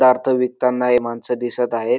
विकताना हे माणसं दिसत आहेत.